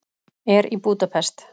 Er í Búdapest.